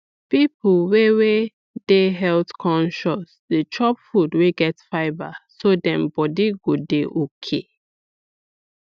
people wey wey dey healthconscious dey chop food wey get fibre so dem body go dey okay